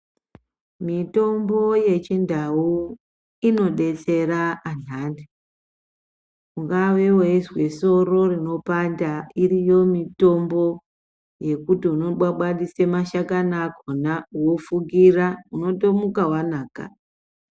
Mitombo yechindau inobetsera anhani, ungave weizwe soro rinopanda, iriyo mitombo yekuti unobwabwatise mashakani akhona wofukira. Unotomuka wanaka.